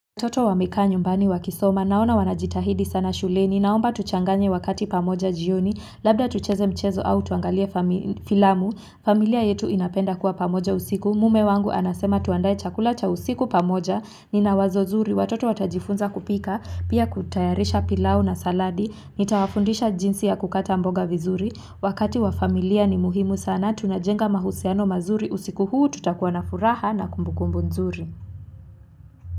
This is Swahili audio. Watoto wamekaa nyumbani wakisoma, naona wanajitahidi sana shuleni, naomba tuchanganye wakati pamoja jioni, labda tucheze mchezo au tuangalie famili filamu, familia yetu inapenda kuwa pamoja usiku, mume wangu anasema tuandae chakula cha usiku pamoja, nina wazo zuri, watoto watajifunza kupika, pia kutayarisha pilau na saladi, nitawafundisha jinsi ya kukata mboga vizuri, wakati wa familia ni muhimu sana tunajenga mahusiano mazuri usiku huu tutakuwa na furaha na kumbukumbu nzuri.